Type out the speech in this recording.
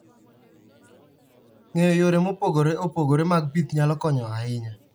Ng'eyo yore mopogore opogore mag pith nyalo konyo ahinya.